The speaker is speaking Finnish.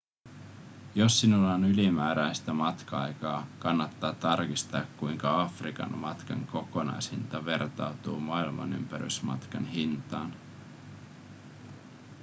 jos sinulla on ylimääräistä matka-aikaa kannattaa tarkistaa kuinka afrikan matkan kokonaishinta vertautuu maailmanympärysmatkan hintaan